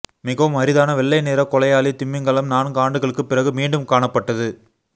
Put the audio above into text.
மிகவும் அரிதான வெள்ளை நிற கொலையாளி திமிங்கலம் நான்கு ஆண்டுகளுக்கு பிறகு மீண்டும் காணப்பட்டது